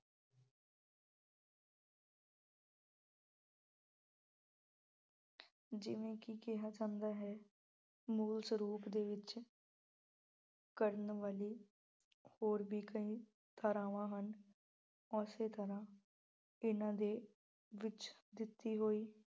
ਜਿਵੇਂ ਕਿ ਕਿਹਾ ਜਾਂਦਾ ਹੈ ਮੂਲ ਸਰੂਪ ਦੇ ਵਿੱਚ ਕਰਨ ਵਾਲੀ ਹੋਰ ਵੀ ਕਈ ਧਾਰਾਵਾਂ ਹਨ। ਉਸੇ ਤਰ੍ਹਾਂ ਇਹਨਾਂ ਦੇ ਵਿੱਚ ਦਿੱਤੀ ਹੋਈ